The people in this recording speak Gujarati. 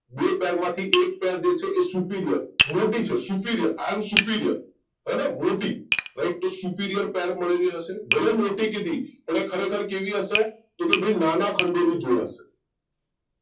બે પેર માંથી એક પેર જે છે એ superior મોટી છે superiority હેને મોટીરાઈટ તો superior પેર મળેલી હશે ભલે મોટી કીધી પણ એ ખરેખર કેવી હશે તો કે ભઈ નાના ખંડો ની જોડ હશે